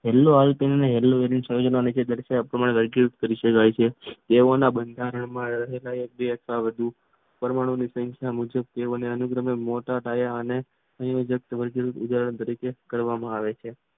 સંયોજનોમાં મુખ્ય ઘટકોમાં વૈકૃત કરે છે. તેઓના બંધારણમાં પરમાણુની સંખ્યા મોટા પાયે અને વૈગિક રીતે કરવામાં આવે છે.